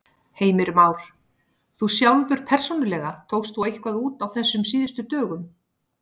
Heimir Már: Þú sjálfur persónulega, tókst þú eitthvað út á þessum síðustu dögum?